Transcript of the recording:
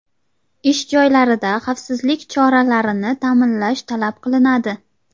Ish joylarida xavfsizlik choralarini ta’minlash talab qilinadi.